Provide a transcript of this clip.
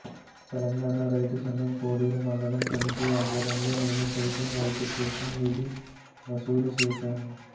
తెలంగాణ రైతు సంఘం కోడేరు మండల కమిటీ ఆధ్వర్యంలో నేను సైతం రైతు కోసం నిధి వసూలు చేశారు